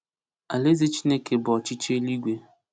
Alaeze Chineke bụ ọchịchị eluigwe.